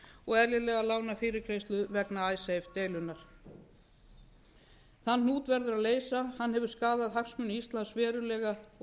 og eðlilega lánafyrirgreiðslu vegna icesave deilunnar þann hnút verður að leysa hann hefur skaðað hagsmuni íslands verulega og